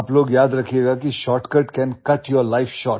आप लोग याद रखिएगा की shortcut can cut your life short